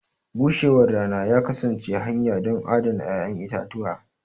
bushewar rana ya kasance hanya don adana 'ya'yan itatuwa.